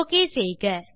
okay செய்க